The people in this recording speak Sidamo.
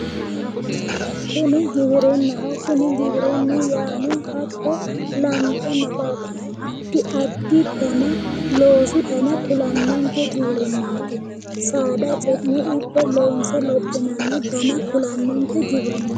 kuni giwirinnaho giwirinnu yaano hatto lantenna addi addi dana loosu dana kulannonke giwirinnaati saada ce'ne ikko loonse lophinanni dana kulannonke giwirinnaati.